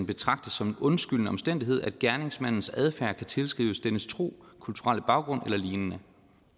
betragtes som en undskyldende omstændighed at gerningsmandens adfærd kan tilskrives dennes tro kulturelle baggrund eller lignende